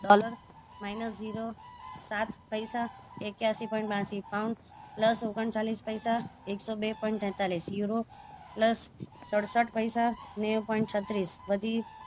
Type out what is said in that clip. dollar minus zero સાત પૈસા એક્યાંશી point બયાંશી pound plus ઓગણચાલીસ પૈસા એકસો બે point તેતાલીસ yuro plus સડસઠ પૈસા નેવું point ત્રીસ